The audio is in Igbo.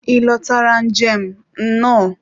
ị lotara njem, nnọọ.